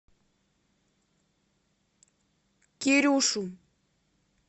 кирюшу